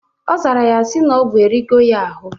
Ọ zara ya sị na ogwu erigo ya arụ